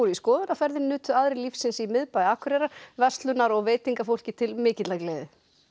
skoðunarferðir nutu aðrir lífsins í miðbæ Akureyrar verslunar og til mikillar gleði